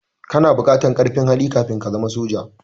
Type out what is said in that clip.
Kana buƙartar ƙarfin hali kafin ka zama soja.